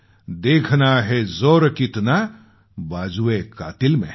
देखना है ज़ोर कितना बाज़ुएकातिल में है